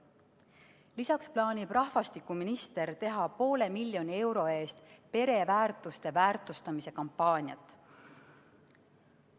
Lisaks plaanib rahvastikuminister teha poole miljoni euro eest pereväärtuste väärtustamise kampaaniat.